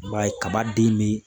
I b'a ye kaba den be